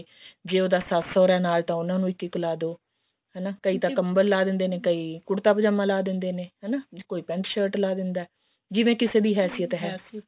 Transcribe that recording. ਜੇ ਉਹਦਾ ਸੱਸ ਸੋਹਰਾ ਨਾਲ ਉਹਨਾ ਨੂੰ ਇੱਕ ਇੱਕ ਲਾ ਦੋ ਹਨਾ ਕਈ ਤਾਂ ਕੰਬਲ ਲਾ ਦਿੰਦੇ ਨੇ ਕਈ ਕੁੜਤਾ ਪਜਾਮਾ ਲਾ ਦਿੰਦੇ ਨੇ ਹਨਾ ਕੋਈ ਪੇੰਟ shirt ਲਾ ਦਿੰਦਾ ਜਿਵੇਂ ਕਿਸੇ ਦੀ